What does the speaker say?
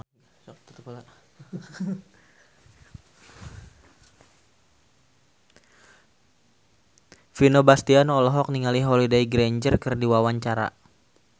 Vino Bastian olohok ningali Holliday Grainger keur diwawancara